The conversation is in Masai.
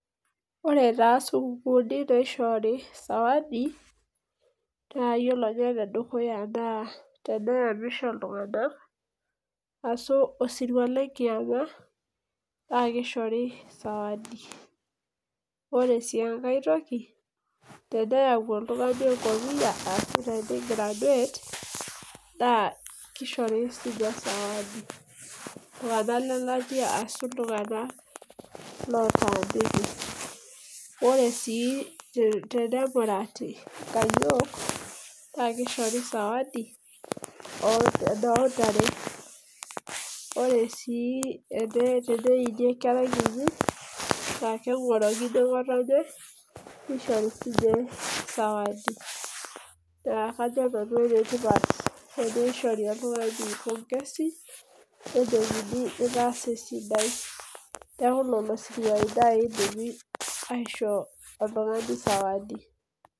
Ore taa sukuulini naishori sawadi. naa ore ninye ene dukuya naa teneyamisho iltunganak, ashu osiruae nkiyama naa kishori sawadi. ore sii enkae toki teneyau oltungani enkopiyia shu tene graduate Nas kishori sii ninye sawadi. iltunganak lelatia ashu iltunganak lotaaniki. ore sii te emurati, nkayiol Nas kishori sawadi oo ntare. ore sii teneini enkerai, enye. naa kengorokini ngotonye, nishori sii ninye sawadi. naa kajo nanu enetipat teneishori oltungani pongezi nejoki itaasa esidai. neeku lelo siruai naaji idimi aisho oltungani. sawadi.